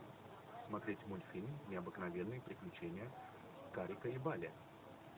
смотреть мультфильм необыкновенные приключения карика и вали